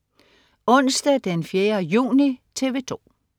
Onsdag den 4. juni - TV 2: